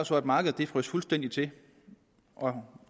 så at markedet frøs fuldstændig til og